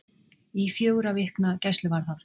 Í fjögurra vikna gæsluvarðhald